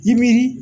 Nimiri